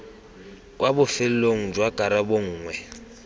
kwa bofelong jwa karabo nngwe